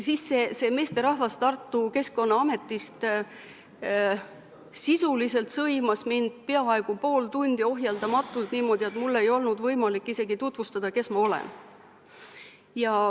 Siis see meesterahvas Tartu keskkonnaametist sisuliselt sõimas mind peaaegu pool tundi ohjeldamatult niimoodi, et mul ei olnud võimalik isegi tutvustada, kes ma olen.